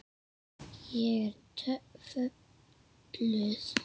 Ég er fötluð.